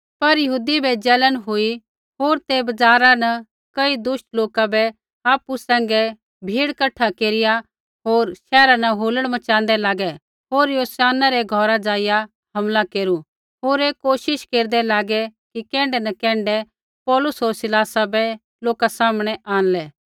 पर यहूदी बै जलन हुई होर ते बज़ारा न कई दुष्ट लोका बै आपु सैंघै भीड़ कठा केरिया होर शैहरा न हुलड़ मच़ाँदै लागै होर यासोनै रै घौरा ज़ाइआ हमला केरू होर ऐ कोशिश केरदै लागै कि कैण्ढै न कैण्ढै पौलुस होर सिलासा बै लोका सामनै आंणलै